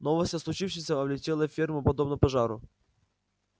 новость о случившемся облетела ферму подобно пожару